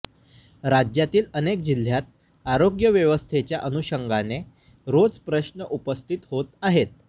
राज्यातील अनेक जिल्ह्यात आरोग्य व्यस्थेच्या अनुषंगाने रोज प्रश्न उपस्थित होत आहे